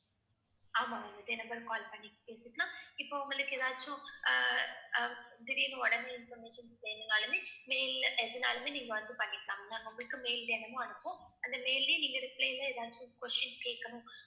ஆமா ma'am இதே number க்கு call பண்ணி பேசிக்கலாம் இப்ப உங்களுக்கு ஏதாச்சும் அஹ் அஹ் திடீர்னு உடனே information வேணும்னாலுமே mail ல எதுனாலுமே நீங்க வந்து பண்ணிக்கலாம் ma'am. நாங்க உங்களுக்கு mail தினமும் அனுப்புவோம். அந்த mail லயே நீங்க reply ல ஏதாச்சும் question கேக்கணும்